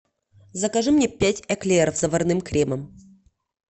закажи мне пять эклеров с заварным кремом